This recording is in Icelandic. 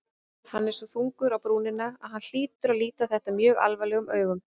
Hann er svo þungur á brúnina að hann hlýtur að líta þetta mjög alvarlegum augum.